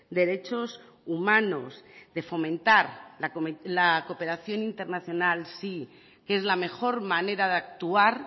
derechos humanos de fomentar la cooperación internacional sí que es la mejor manera de actuar